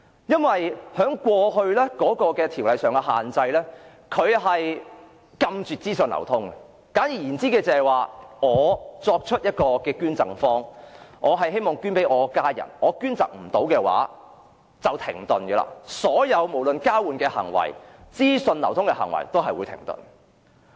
有關條例過去所訂的限制是禁絕資訊流通，簡單而言就是假如我是捐贈方，希望把器官捐贈予家人，但如果無法捐贈的話，所有事情便停頓了，無論是器官或資訊交換的行為均會停頓。